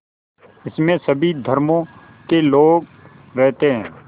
इसमें सभी धर्मों के लोग रहते हैं